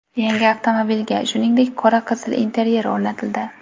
Yangi avtomobilga, shuningdek, qora-qizil interyer o‘rnatildi.